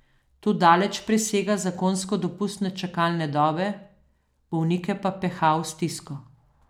To daleč presega zakonsko dopustne čakalne dobe, bolnike pa peha v stisko.